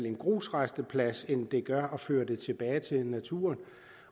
en grusrasteplads end det gør at føre det tilbage til naturen